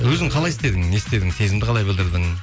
өзің қалай істедің не істедің сезімді қалай білдірдің